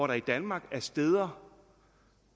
der i danmark er steder